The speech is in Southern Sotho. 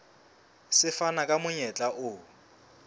se fana ka monyetla o